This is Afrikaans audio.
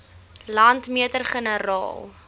landmeter generaal